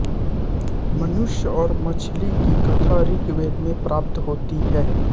मनुष्य और मछली की कथा ऋग्वेद में प्राप्त होती है